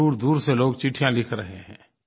दूरदूर से लोग चिट्ठियाँ लिख रहे हैं